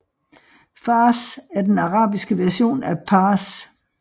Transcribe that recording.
Fārs er den arabiske version af Pars